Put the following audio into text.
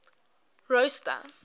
rosta